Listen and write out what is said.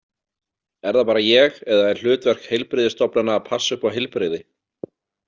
Er það bara ég eða er hlutverk heilbrigðisstofnana að passa upp á heilbrigði?